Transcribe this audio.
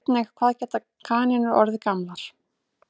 Sjá einnig Hvað geta kanínur orðið gamlar?